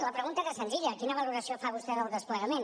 la pregunta era senzilla quina valoració fa vostè del desplegament